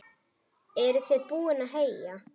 Eruð þið búin að heyja?